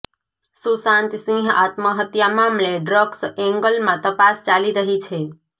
સુશાંત સિંહ આત્મહત્યા મામલે ડ્રગ્સ એંગલમાં તપાસ ચાલી રહી છે